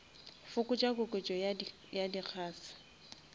fokotša koketšo ya di gas